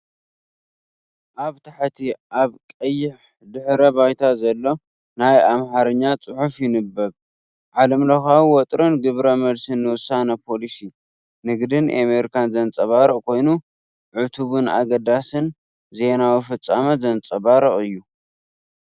ኣብ ታሕቲ ኣብ ቀይሕ ድሕረ ባይታ ዘሎ ናይ ኣምሓርኛ ጽሑፍ ይንበብ። ዓለምለኻዊ ወጥሪን ግብረ መልስን ንውሳነ ፖሊሲ ንግዲ ኣሜሪካ ዘንጸባርቕ ኮይኑ፡ ዕቱብን ኣገዳስን ዜናዊ ፍጻመ ዘንጸባርቕ እዩ፡፡